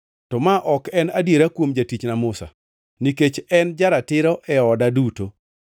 To ma ok en adiera kuom jatichna Musa; nikech en ja-ratiro e oda duto.